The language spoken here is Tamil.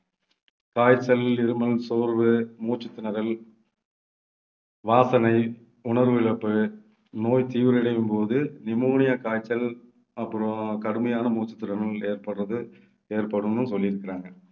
காய்ச்சல், இருமல், சோர்வு, மூச்சுத்திணறல், வாசனை உணர்வு இழப்பு, நோய் தீவிரம் அடையும்போது நிமோனியா காய்ச்சல் அப்புறம் கடுமையான மூச்சுத்திணறல் ஏற்படுறது ஏற்படும்னு சொல்லியிருக்கிறாங்க.